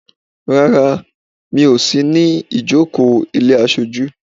Rárá, mi ò sí ní ìjókòó ilé aṣọjú.